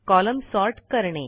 column sort करणे